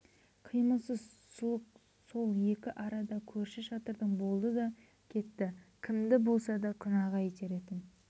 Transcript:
қимылсыз сұлық сол екі арада көрші шатырдың болды да кетті кімді болса да күнәға итеретін